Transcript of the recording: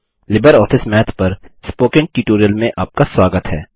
Libre office Math पर spoken tutorial में आपका स्वागत है